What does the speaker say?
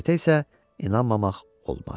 Bu qəzetə isə inanmamaq olmaz.